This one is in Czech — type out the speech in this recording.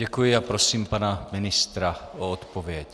Děkuji a prosím pana ministra o odpověď.